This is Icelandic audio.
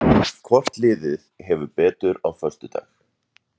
Hvort liðið hefur betur á föstudag?